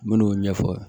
N men'o ɲɛfɔ